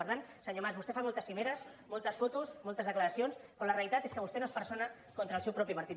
per tant senyor mas vostè fa moltes cimeres moltes fotos moltes declaracions però la realitat és que vostè no es persona contra el seu propi partit